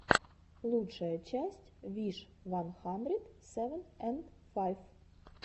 лучшая часть виш ван хандрит севен энд файв